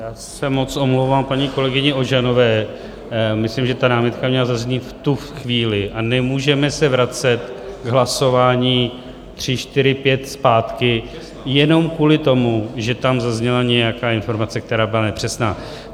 Já se moc omlouvám paní kolegyni Ožanové, myslím, že ta námitka měla zaznít v tu chvíli a nemůžeme se vracet k hlasování 3, 4, 5 zpátky jenom kvůli tomu, že tam zazněla nějaká informace, která byla nepřesná.